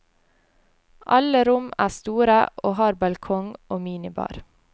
Alle rom er store og har balkong og minibar.